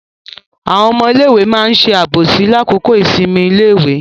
Àwọn ọmọ iléèwé ma ṣe àbòsí ní àkókò ìsinmi ní iléèwé.